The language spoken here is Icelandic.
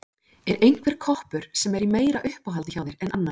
Er einhver koppur sem er í meira uppáhaldi hjá þér en annar?